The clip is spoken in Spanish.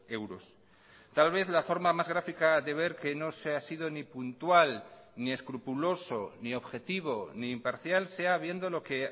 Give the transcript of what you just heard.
euros tal vez la forma más gráfica de ver que no se ha sido ni puntual ni escrupuloso ni objetivo ni imparcial sea viendo lo que